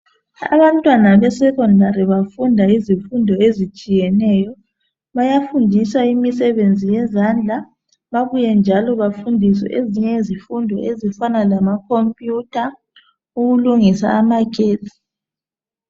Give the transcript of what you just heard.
Abantwana beSekhondari bafunda izifundo ezitshiyeneyo, bayafundiswa imisebenzi yezandla babuye njalo bafunde ezinye izifundo ezifana lamakhompiyutha, ukulungisa amagetsi.